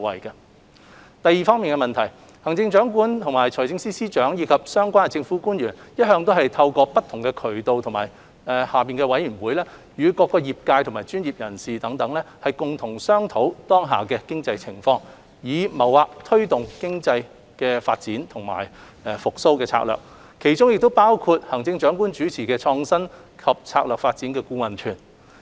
二行政長官、財政司司長及相關政府官員一向透過不同渠道及轄下委員會，與各業界及專業人士共同商討當下的經濟情況，以謀劃推動經濟發展的復蘇策略，其中包括行政長官主持的創新及策略發展顧問團。